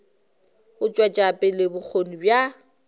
go tšwetša pele bokgoni bja